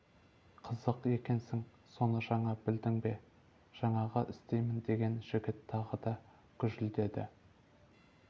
қызық екенсің соны жаңа білдің бе жаңағы істеймін деген жігіт тағы да гүжілдеді